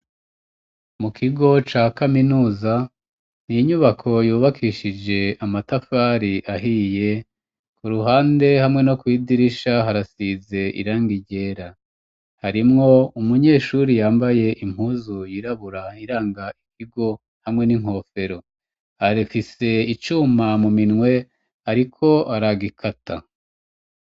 Mu kigo ca kaminuza ni inyubako yubakishije amatafari ahiye ku ruhande hamwe no kwidirisha harasize irangi ryera harimwo umunyeshuri yambaye impuzu yirabura iranga ikigo hamwe n'inkofero arifise icuma mu minwe ariko aragikata.